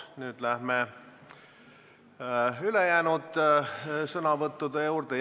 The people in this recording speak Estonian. Nüüd lähme ülejäänud sõnavõttude juurde.